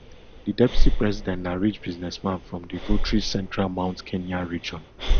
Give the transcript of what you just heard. di deputy president na rich businessman from di voterich central mount kenya region